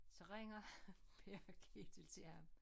Så ringer Per Ketil til ham